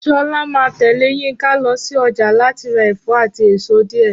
Ṣọlá máa tẹ̀lé Yínka lọ sí ọjà láti ra ẹ̀fọ́ àti èso díẹ̀